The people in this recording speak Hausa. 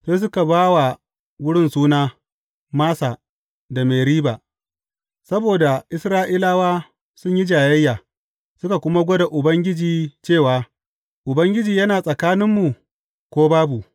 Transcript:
Sai suka ba wa wurin suna, Massa da Meriba, saboda Isra’ilawa sun yi jayayya, suka kuma gwada Ubangiji cewa, Ubangiji yana tsakaninmu ko babu?